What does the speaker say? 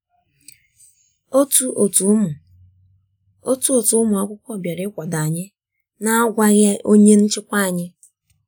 Otu otu ụmụ Otu otu ụmụ akwụkwọ bịara ịkwado anyị na agwaghị onye nchịkwa anyị